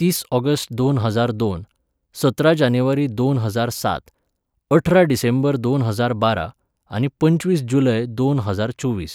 तीस ऑगस्ट दोन हजार दोन, सतरा जानेवारी दोन हजार सात, अठरा डिसेंबर दोन हजार बारा, आनी पंचवीस जुलय दोन हजार चोवीस